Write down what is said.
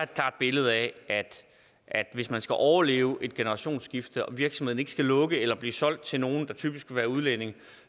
klart billede af at hvis man skal overleve et generationsskifte og virksomheden ikke skal lukke eller blive solgt til nogle der typisk er udlændinge